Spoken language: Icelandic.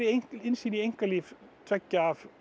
innsýn í einkalíf tveggja af